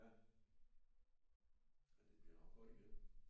Ja ja det bliver nok godt igen